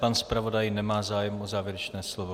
Pan zpravodaj nemá zájem o závěrečné slovo.